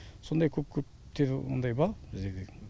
сондай көп көптер ондай бар біздерде